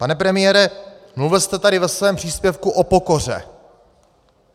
Pane premiére, mluvil jste tady ve svém příspěvku o pokoře.